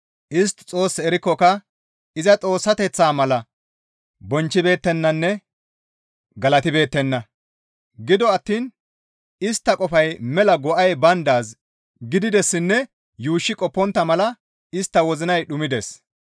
Istti Xoos erikkoka iza Xoossateththaa mala iza bonchchibeettenanne galatibeettenna; gido attiin istta qofay mela go7ay bayndaaz gididessinne yuushshi qoppontta mala istta wozinay dhumides.